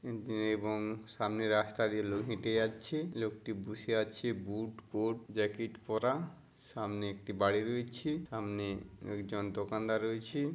উম দে এবং সামনে রাস্তা দিয়ে লোক হেঁটে যাচ্ছে। লোকটি বুসে আছে। বুট কোট জ্যাকেট পড়া। সামনে একটি বাড়ি রয়েছে। সামনে একজন দোকানদার রয়েছে ।